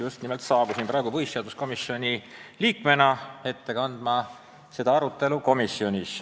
Just nimelt, ma saabusin siia pulti, et põhiseaduskomisjoni liikmena anda ülevaade arutelust komisjonis.